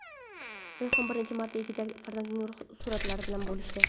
Rayhon birinchi marta egizak farzandlari suratlari bilan bo‘lishdi .